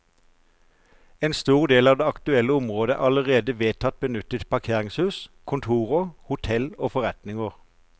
En stor del av det aktuelle området er allerede vedtatt benyttet til parkeringshus, kontorer, hotell og forretninger.